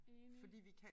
Enig